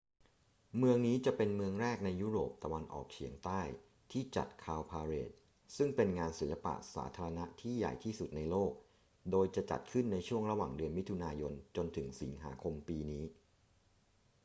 เมืองนี้จะเป็นเมืองแรกในยุโรปตะวันออกเฉียงใต้ที่จัด cowparade ซึ่งเป็นงานศิลปะสาธารณะที่ใหญ่ที่สุดในโลก โดยจะจัดขึ้นในช่วงระหว่างเดือนมิถุนายนจนถึงสิงหาคมปีนี้